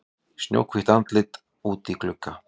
Snjóhvítt andlit úti í glugga.